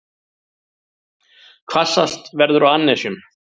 Hvassast verður á annesjum